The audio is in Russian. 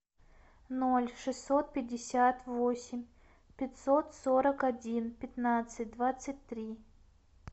ноль шестьсот пятьдесят восемь пятьсот сорок один пятнадцать двадцать три